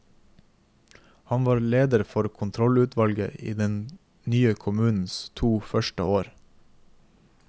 Han var leder for kontrollutvalget i den nye kommunens to første år.